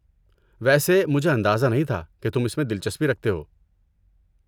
ویسے مجھے اندازہ نہیں تھا کہ تم اس میں دلچسپی رکھتے ہو۔